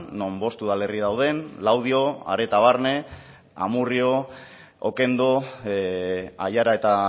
non bost udalerri dauden laudio areta barne amurrio okendo aiara eta